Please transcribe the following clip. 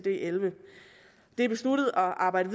elleve det er besluttet at arbejde